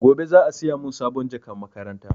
Gobe za a siya mun sabon jakan makaranta